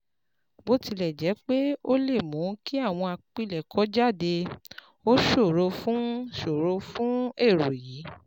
Bó tilẹ̀ jẹ́ pé ó lè mú kí àwọn àpilẹ̀kọ jáde, ó ṣòro fún ṣòro fún ẹ̀rọ yìí